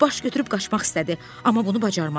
Baş götürüb qaçmaq istədi, amma bunu bacarmadı.